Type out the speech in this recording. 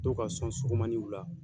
Dɔw ka sɔn surumanin ye u la